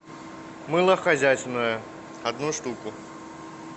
мыло хозяйственное одну штуку